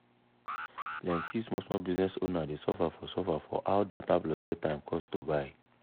plenti small small business owner dey suffer for suffer for how data plus airtime cost to buy.